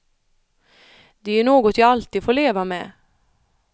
Det är ju något jag alltid får leva med.